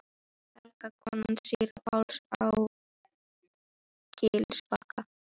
Helga, kona síra Páls á Gilsbakka.